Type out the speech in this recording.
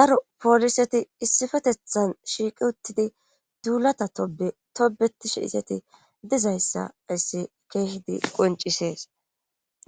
daro pooliseti issifetethan shiiqi uttidi duulata tobe tobetishe iseti dizayssa ayssi keeshidi qoncisees.